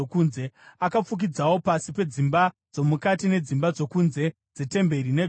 Akafukidzawo pasi pedzimba dzomukati nedzimba dzokunze dzetemberi negoridhe.